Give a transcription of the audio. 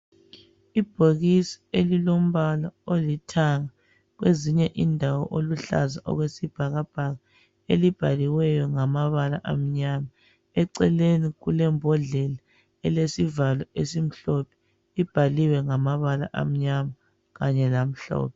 Ibhokisi elilombala olithanga kwezinye indawo oluhlaza okwesibhakabhaka, elibhaliweyo ngamabala amnyama. Eceleni kulembodlela elesivalo esimhlophe, ibhaliwe ngamabala amnyama kanye lamhlophe.